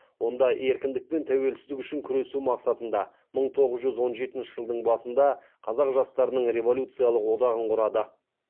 онда еркіндік пен тәуелсіздік үшін күресу мақсатында мың тоғыз жүз он жетінші жылдың басында қазақ жастарының революциялық одағын құрады